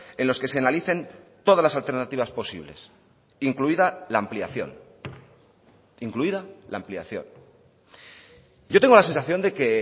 en los que se analicen todas las alternativas posibles incluida la ampliación incluida la ampliación yo tengo la sensación de que